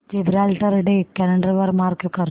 Gibraltar day calendar वर mark कर